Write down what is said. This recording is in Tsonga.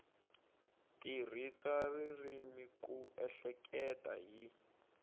tirhisa ririmi ku ehleketa hi